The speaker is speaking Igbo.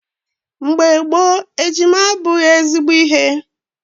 Mgbe gboo, ejima abụghị ezigbo ihe.